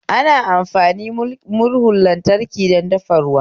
Ana amfani murhun lantraki don dafa ruwa